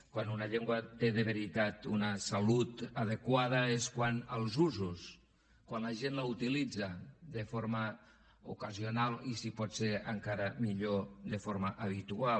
quan una llengua té de veritat una salut adequada és quant als usos quan la gent la utilitza de forma ocasio nal i si pot ser encara millor de forma habitual